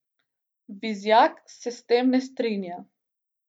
Vizjak se s tem ne strinja.